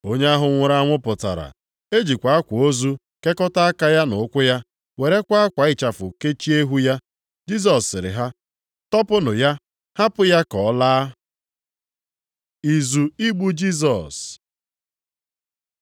Onye ahụ nwụrụ anwụ pụtara, e jikwa akwa ozu kekọta aka ya na ụkwụ ya, werekwa akwa ịchafu kechie ihu ya. Jisọs sịrị ha, “Tọpụnụ ya, hapụ ya ka ọ laa.” Izu igbu Jisọs